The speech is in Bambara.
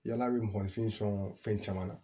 Yala bɛ mɔgɔnifin sɔn fɛn caman na